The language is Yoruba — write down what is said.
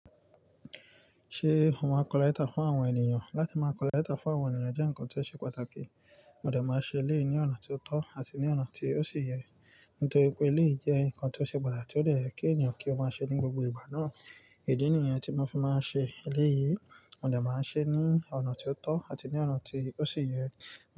Ṣé ó máa collector fún àwọn ènìyàn? Látí máa collector fún àwọn ènìyàn jẹ́ ǹkan tó ṣe pàtàkì, mo dẹ̀ máa ṣe eléyìí ní ọ̀nà tó tọ́ àti ní ọ̀nà tí ó sì yẹ. Nítorí pé eléyìí jẹ́ ǹkan tó ṣe pàtàkì tó yẹ kí ènìyàn kí ó máa ṣe ní gbogbo ìgbà náà. Ìdí nìyẹn tí mo fi máa ń ṣe eléyìí, mo dẹ̀ máa ṣe é ní ọ̀nà tó tọ́ àti ní ọ̀nà tí ó sì yẹ.